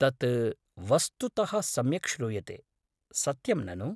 तत् वस्तुतः सम्यक् श्रूयते, सत्यं ननु?